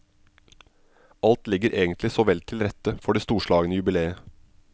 Alt ligger egentlig så vel til rette for det storslagne jubileet.